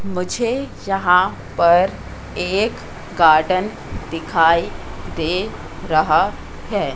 मुझे जहां पर एक गार्डन दिखाई दे रहा है।